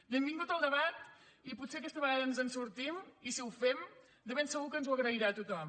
benvingut el debat i potser aquesta vegada ens en sortim i si ho fem de ben segur que ens ho agrairà tothom